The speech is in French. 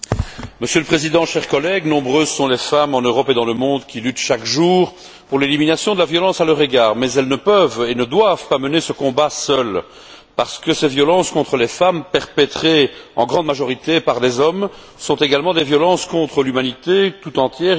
Monsieur le Président, chers collègues, nombreuses sont les femmes, en Europe et dans le monde, qui luttent chaque jour pour l'élimination de la violence à leur égard, mais elles ne peuvent et ne doivent pas mener ce combat seules, parce que ces violences contre les femmes, perpétrées en grande majorité par des hommes, sont également des violences contre l'humanité tout entière.